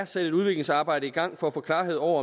sat et udviklingsarbejde i gang for at få klarhed over